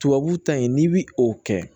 Tubabu ta in n'i bi o kɛ